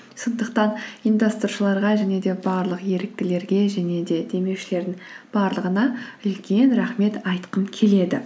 сондықтан ұйымдастырушыларға және де барлық еріктілерге және де демеушілердің барлығына үлкен рахмет айтқым келеді